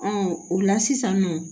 o la sisan nɔ